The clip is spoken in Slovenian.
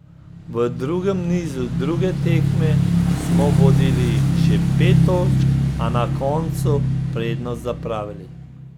V drugem nizu druge tekme smo vodili že pet točk, a na koncu prednost zapravili.